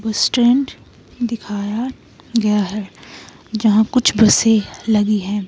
Stand दिखाया गया है यहां कुछ बसें लगी हैं।